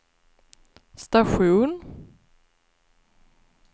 station